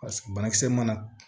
Ka sɔrɔ banakisɛ mana